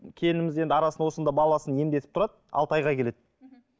келініміз арасында енді арасында осында баласын емдетіп тұрады алты айға келеді